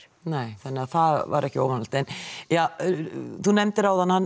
nei þannig að það var ekki óvanalegt en þú nefndir áðan hann